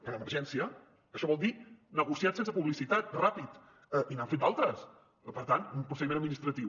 per emergència això vol dir negociat sense publicitat ràpid i n’han fet d’altres per tant un procediment administratiu